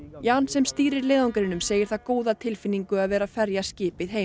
Jan sem stýrir leiðangrinum segir það góða tilfinningu að vera að ferja skipið heim